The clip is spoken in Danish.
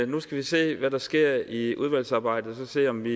nu skal vi se hvad der sker i udvalgsarbejdet og så se om vi